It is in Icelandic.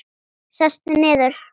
Sestu niður.